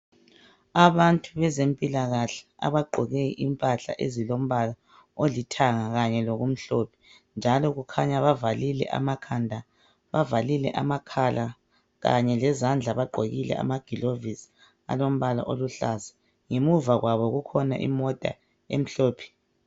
Abantu bezempilakahle abagqoke impahla ezilombala olithanga kanye lokumhlophe njalo kukhanya bavalile amakhala kanye lezandla bagqokile amagilovisi alombala oluhlaza. Ngemuva kwabo kukhona imota emhlophe.